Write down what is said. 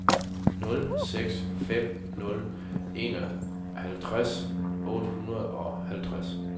nul seks fem nul enoghalvtreds otte hundrede og halvtreds